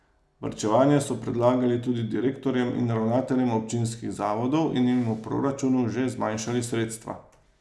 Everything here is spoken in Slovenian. Varčevanje so predlagali tudi direktorjem in ravnateljem občinskih zavodov in jim v proračunu že zmanjšali sredstva.